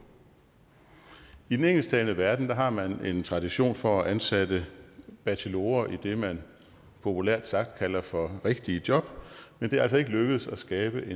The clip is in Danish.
i den engelsktalende verden har man en tradition for at ansætte bachelorer i det man populært sagt kalder for rigtige job men det er altså ikke lykkedes at skabe